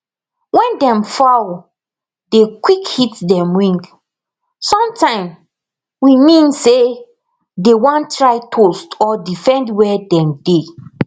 wen dem fowl dey quick hit dem wing sometime w mean say dey wan try toast or defend were dem dey